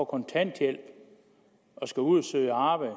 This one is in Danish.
kontanthjælp og skal ud at søge arbejde